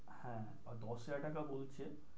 হ্যাঁ but দশ হাজার টাকা বলছে।